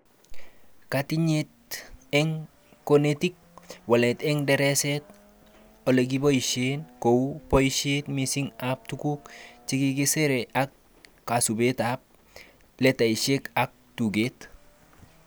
Katinyete eng konetik:Walet eng dareset olekiboishe (kou, boishet mising ab tuguk chekisere ak kasubetab letaishek ak tuget